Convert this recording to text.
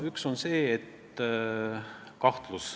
Üks on kahtlus.